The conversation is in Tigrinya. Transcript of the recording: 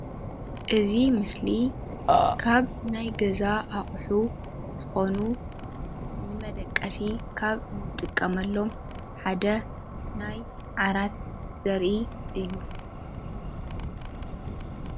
እዚ ምስሊ ካብ ናይ ገዛ ኣሓቁ ዝኮኑ ንመደቂሲ ካብ እንጥቀመሎም ሓደ ናይ ዓራት ዘርኢ እዩ፡፡